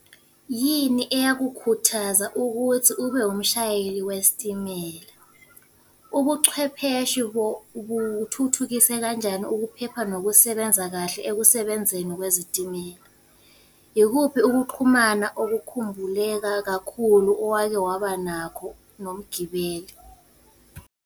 Yini eyakukhuthaza ukuthi ube umshayeli wesitimela? Ubuchwepheshe buthuthukisa kanjani ukuphepha nokusenza kahle ekusebenzeni kwezitimela? Ikuphi ukuxhumana okukhumbuleka kakhulu owake waba nakho nomgibeli.